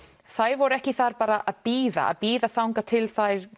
þær voru ekki þar bara að bíða bíða þangað til þær